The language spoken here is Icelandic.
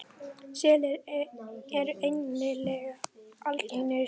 Selir eru einnig algeng sjón.